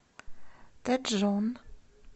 тэджон